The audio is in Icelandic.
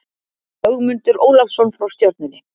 Ögmundur Ólafsson frá Stjörnunni